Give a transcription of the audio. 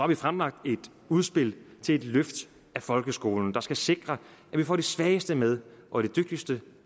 vi fremlagt et udspil til et løft af folkeskolen der skal sikre at vi får de svageste med og de dygtigste